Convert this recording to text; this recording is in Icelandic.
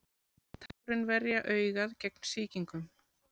Tárin verja augað gegn sýkingum.